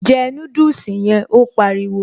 Jẹ núdùsì yẹn', Ó pariwo